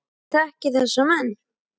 Ég þekki þessa menn.